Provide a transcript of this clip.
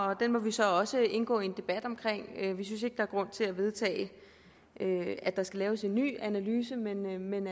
og den må vi så også indgå i en debat om vi synes ikke der er grund til at vedtage at der skal laves en ny analyse men